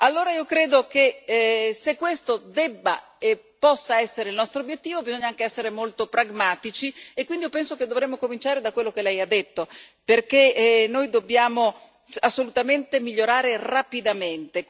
Allora io credo che, se questo deve e può essere il nostro obiettivo, bisogna anche essere molto pragmatici e quindi penso che dovremmo cominciare da quello che Lei ha detto, perché noi dobbiamo assolutamente migliorare rapidamente.